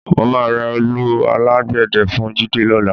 Mo máa ra òòlù alágbẹ̀dẹ́ fún Jídé lọ́la